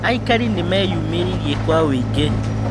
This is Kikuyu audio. Aikari nĩmeyũmĩririe kwa ũingĩ